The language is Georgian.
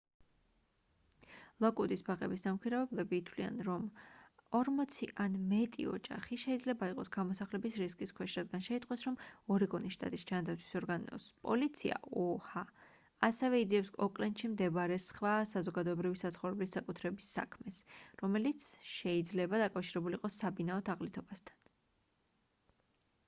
ლოკვუდის ბაღების დამქირავებლები თვლიან რომ 40 ან მეტი ოჯახი შეიძლება იყოს გამოსახლების რისკის ქვეშ რადგან შეიტყვეს რომ ორეგონის შტატის ჯანდაცვის ორგანოს პოლიცია oha ასევე იძიებს ოკლენდში მდებარე სხვა საზოგადოებრივი საცხოვრებლის საკუთრების საქმეს რომელიც შეიძლება დაკავშირებული იყოს საბინაო თაღლითობასთან